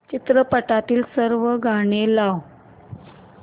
चित्रपटातील सर्व गाणी लाव